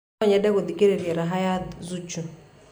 no nyende gũthikĩrĩria raha ya zuchu